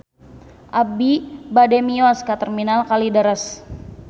Abi bade mios ka Terminal Kalideres